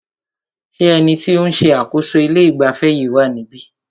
Ṣé ẹni tí o ń ṣe àkóso ilé ìgbafẹ́ yìí wá níbí?